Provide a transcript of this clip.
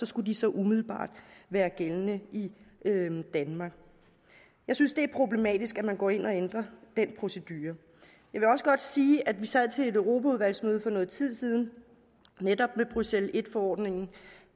skulle så umiddelbart være gældende i danmark jeg synes det er problematisk at man går ind og ændrer den procedure jeg vil også godt sige at vi sad til et europaudvalgsmøde for noget tid siden netop med bruxelles i forordningen